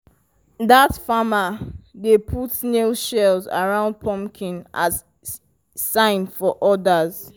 dat farmer dey put snail shells around pumpkin as sign for others.